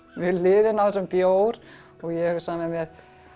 við hliðina á þessum bjór og ég hugsa með mér